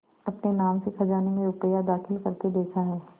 अपने नाम से खजाने में रुपया दाखिल करते देखा है